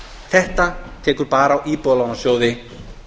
þetta tekur bara á íbúðalánasjóði